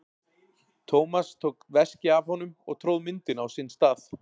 Thomas tók veskið af honum og tróð myndinni á sinn stað.